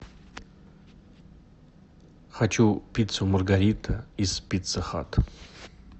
хочу пиццу маргарита из пицца хат